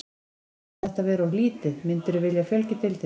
Finnst þér þetta vera of lítið, myndirðu vilja fjölga í deildinni?